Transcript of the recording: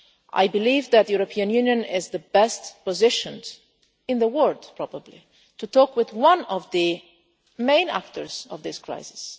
I believe that the European Union is best positioned in the world probably to talk with one of the main actors in this crisis.